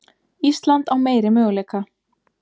Ísland á meiri möguleika